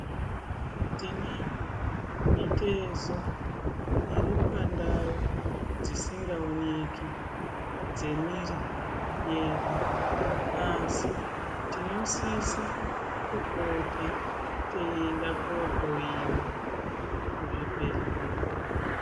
Tinayo mitezo iri pantau dzisingaoneki dzemiiri yedu asi tinosisa kupota teyienda kunohloyiwa kuzvibhedhlera.